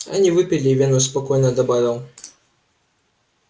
они выпили и венус спокойно добавил